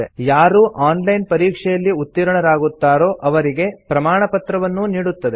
ಯಾರು online ಪರೀಕ್ಷೆಯಲ್ಲಿ ಉತ್ತೀರ್ಣರಾಗುತ್ತಾರೋ ಅವರಿಗೆ ಪ್ರಮಾಣಪತ್ರವನ್ನೂ ನೀಡುತ್ತದೆ